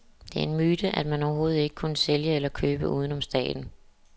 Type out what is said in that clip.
Det er en myte, at man overhovedet ikke kunne sælge eller købe uden om staten.